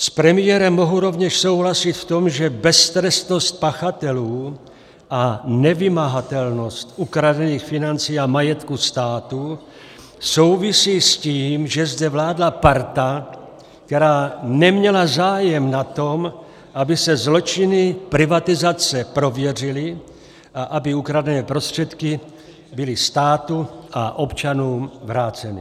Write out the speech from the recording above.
S premiérem mohu rovněž souhlasit v tom, že beztrestnost pachatelů a nevymahatelnost ukradených financí a majetku státu souvisí s tím, že zde vládla parta, která neměla zájem na tom, aby se zločiny privatizace prověřily a aby ukradené prostředky byly státu a občanům vráceny.